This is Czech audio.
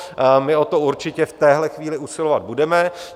My o to určitě v tuto chvíli usilovat budeme.